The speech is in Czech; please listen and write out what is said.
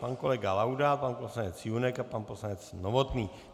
Pan kolega Laudát, pan poslanec Junek a pan poslanec Novotný.